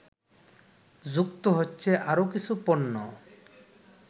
যুক্ত হচ্ছে আরও কিছু পণ্য